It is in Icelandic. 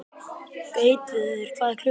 Gautviður, hvað er klukkan?